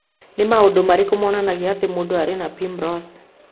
Nĩ maũndũ marĩkũ monanagia atĩ mũndũ arĩ na Primrose?